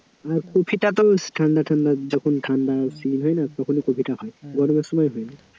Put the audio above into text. কপিটা তো ঠান্ডা ঠান্ডা যখন ঠান্ডা হয় না তখনই কপিটা হয় গরমের সময় হয় না,